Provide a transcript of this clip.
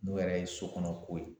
N'o yɛrɛ ye sokɔnɔko ye